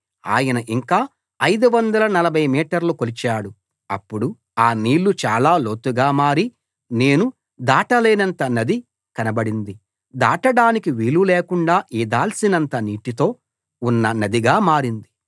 ఆయన ఇంకా 540 మీటర్లు కొలిచాడు అప్పుడు ఆ నీళ్లు చాల లోతుగా మారి నేను దాటలేనంత నది కనబడింది దాటడానికి వీలులేకుండ ఈదాల్సినంత నీటితో ఉన్న నదిగా మారింది